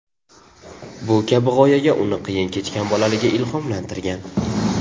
Bu kabi g‘oyaga uni qiyin kechgan bolaligi ilhomlantirgan.